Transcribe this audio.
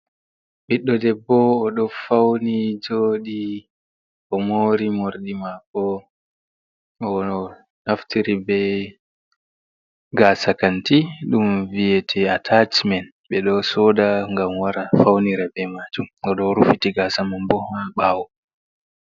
Ɓiɗɗo debbo oɗo fauni joɗi, o mori morɗi mako o naftiri bei gasa kanti dum viyete atachimen, ɓeɗo soda ngam wara faunira be majum godɗo o rufiti gasa man bo ha bawo.